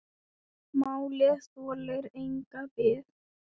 Málið þolir enga bið.